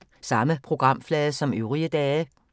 Samme programflade som øvrige dage